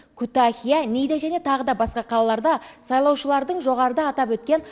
күтахия ниғде және тағы басқа қалаларда сайлаушылардың жоғарыда атап өткен